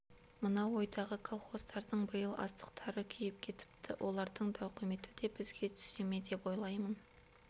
мынау ойдағы колхоздардың биыл астықтары күйіп кетіпті олардың тауқыметі де бізге түсе ме деп ойлаймын